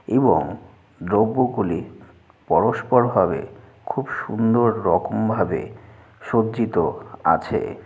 এবং দ্রব্য গুলি পরস্পর ভাবে খুব সুন্দর রকম ভাবে সজ্জিত আছে।